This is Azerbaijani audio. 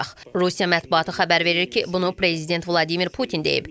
Rusiya mətbuatı xəbər verir ki, bunu prezident Vladimir Putin deyib.